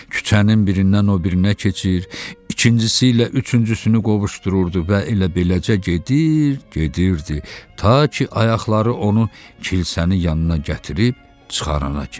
Küçənin birindən o birinə keçir, ikincisi ilə üçüncüsünü qovuşdururdu və elə beləcə gedir, gedirdi, ta ki ayaqları onu kilsənin yanına gətirib çıxarana kimi.